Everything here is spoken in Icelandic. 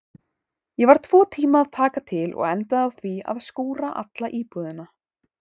Ég var tvo tíma að taka til og endaði á því að skúra alla íbúðina.